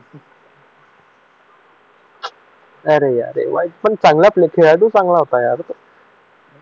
अरे यार खूप वाईट चांगला प्लेयर खेळाडू खूप चांगला होता यार